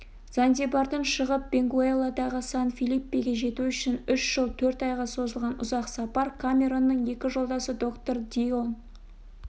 занзибардан шығып бенгуэлладағы сан-филиппеге жету үшін үш жыл төрт айға созылған ұзақ сапар камеронның екі жолдасы доктор дильон